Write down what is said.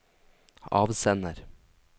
avsender